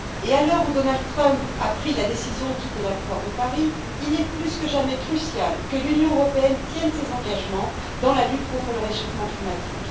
À l'heure où Donald Trump a pris la décision de quitter l'accord de Paris, il est plus que jamais crucial que l'Union européenne tienne ses engagements dans la lutte contre le réchauffement climatique.